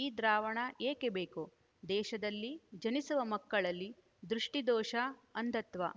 ಈ ದ್ರಾವಣ ಏಕೆ ಬೇಕು ದೇಶದಲ್ಲಿ ಜನಿಸುವ ಮಕ್ಕಳಲ್ಲಿ ದೃಷ್ಟಿದೋಷ ಅಂಧತ್ವ